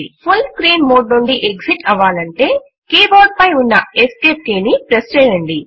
full screen mode నుండి exit అవ్వాలంటే keyboard పై ఉన్న ఎస్కేప్ కీ ని ప్రెస్ చేయండి